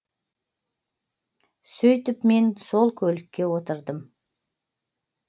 сөйтіп мен сол көлікке отырдым